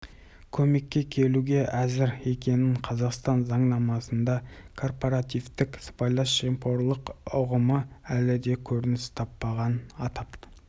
көмекке келуге әзір екенін қазақстан заңнамасында корпоративтік сыбайлас жемқорлық ұғымы әлі де көрініс таппаған атап